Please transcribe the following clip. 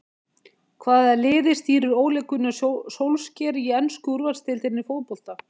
Hvaða liði stýrir Ole Gunnar Solskjær í ensku úrvalsdeildinni í fótbolta?